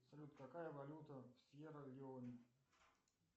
салют какая валюта в сьерра леоне